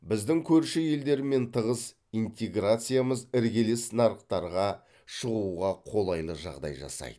біздің көрші елдермен тығыз интеграциямыз іргелес нарықтарға шығуға қолайлы жағдай жасайды